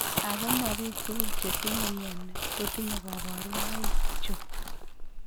Ako ma biik tugul chetinye mioni kotinye kaborunoik chu